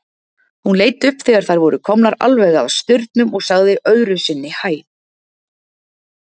Hún leit upp þegar þær voru komnar alveg að staurnum og sagði öðru sinni hæ.